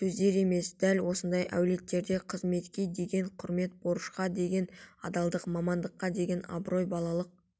сөздер емес дәл осындай әулеттерде қызметке деген құрмет борышқа деген адалдық мамандыққа деген абырой балалық